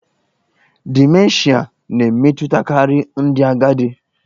Dimenshịa na-emetụtakarị ndị agadi.